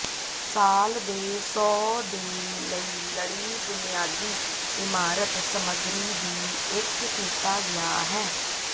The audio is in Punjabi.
ਸਾਲ ਦੇ ਸੌ ਦੇ ਲਈ ਲੜੀ ਬੁਨਿਆਦੀ ਇਮਾਰਤ ਸਮੱਗਰੀ ਦੀ ਇੱਕ ਕੀਤਾ ਗਿਆ ਹੈ